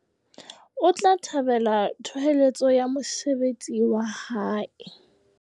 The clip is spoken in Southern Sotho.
O tla thabela thoholetso ya mosebetsi wa hae.